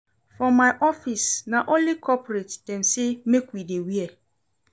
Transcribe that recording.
For my office, na only corporate dem sey make we dey wear.